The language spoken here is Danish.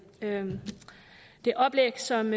det oplæg som